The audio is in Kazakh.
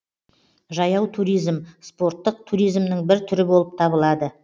жаяу туризм спорттық туризмнің бір түрі болып табылады